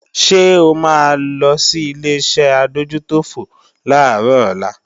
Ṣé o máa lo sí Ileṣẹ́ adójútòfò làárọ̀ ọ̀la?